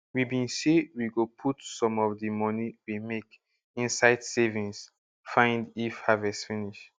we bin say we go put some of di money we make inside savings find if harvest finish